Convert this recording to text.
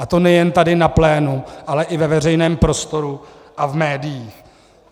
A to nejen tady na plénu, ale i ve veřejném prostoru a v médiích.